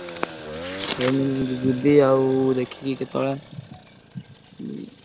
ଏଇ ମୁଁ ଯିବି ଆଉ ଦେଖିକି କେତବେଳେ ଉଁ।